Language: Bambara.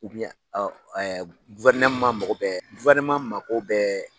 Guwerneman mago bɛɛ guwerneman mago bɔ